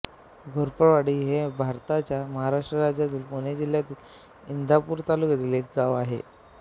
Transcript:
घोरपडवाडी हे भारताच्या महाराष्ट्र राज्यातील पुणे जिल्ह्यातील इंदापूर तालुक्यातील एक गाव आहे